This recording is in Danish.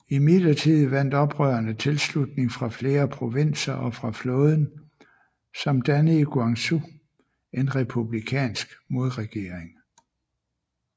Imidlertid vandt oprørerne tilslutning fra flere provinser og fra flåden samt dannede i Guangzhou en republikansk modregering